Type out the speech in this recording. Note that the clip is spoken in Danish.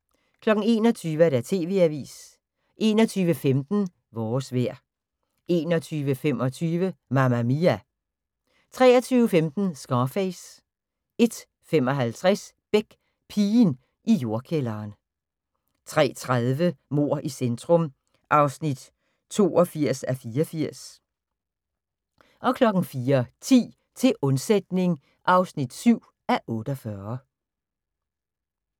21:00: TV-avisen 21:15: Vores vejr 21:25: Mamma Mia! 23:15: Scarface 01:55: Beck: Pigen i jordkælderen 03:30: Mord i centrum (82:84) 04:10: Til undsætning (7:48)